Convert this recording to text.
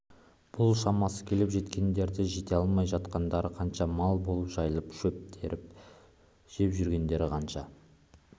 бұл шамасы келіп жеткендері жете алмай жатқандары қанша мал болып жайылып шөп теріп жеп жүргендері қанша